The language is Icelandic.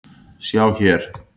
Sjá hér